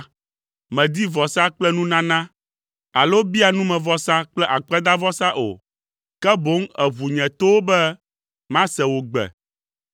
Mèdi vɔsa kple nunana, alo bia numevɔsa kple akpedavɔsa o, ke boŋ èʋu nye towo be mase wò gbe,